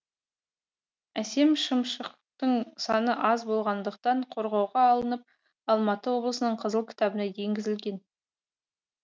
әсем шымшықтың саны аз болғандықтан қорғауға алынып алматы облысының қызыл кітабына енгізілген